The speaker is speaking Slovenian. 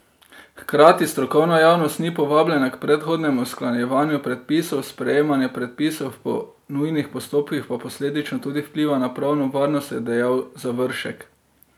Hkrati strokovna javnost ni povabljena k predhodnem usklajevanju predpisov, sprejemanje predpisov po nujnih postopkih pa posledično tudi vpliva na pravno varnost, je dejal Završek.